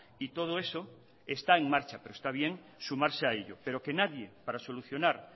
y todo eso está en marcha pero está bien sumarse a ello pero que nadie para solucionar